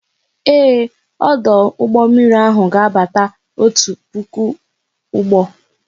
Ee, ọdụ ụgbọ mmiri ahụ ga abata otu puku ụgbọ